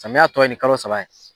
Samiya tɔ ye nin kalo saba ye.